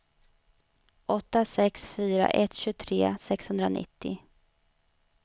åtta sex fyra ett tjugotre sexhundranittio